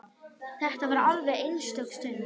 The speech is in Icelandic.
Þetta var alveg einstök stund.